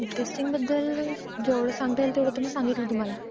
Testing बद्दल जेवढं सांगता येईल तेवढं सांगितलं मी तुम्हाला.